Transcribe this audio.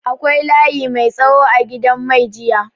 Akwai layi mai tsawo a gidan mai jiya.